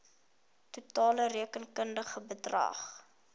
totale rekenkundige bedrag